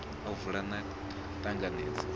u vula na u ṱanganedza